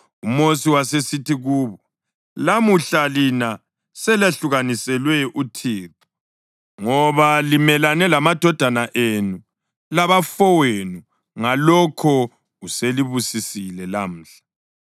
UMosi wasesithi kubo, “Lamuhla lina selahlukaniselwe uThixo ngoba limelane lamadodana enu labafowenu, ngalokho uselibusisile lamhla.”